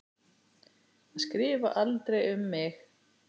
Að skrifa aldrei um mig.